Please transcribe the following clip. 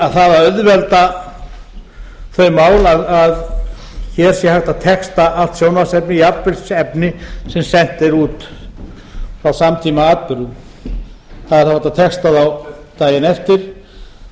að auðvelda þau mál að hér sé hægt að texta allt sjónvarpsefni jafnvel efni sem sent er út frá samtímaatburðum það er hægt að texta þá daginn eftir